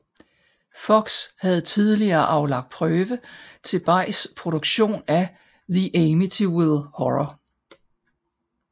Fox havde tidligere aflagt prøve til Bays produktion af The Amityville Horror